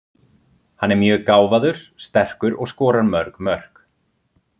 Hann er mjög gáfaður, sterkur og skorar mörg mörk.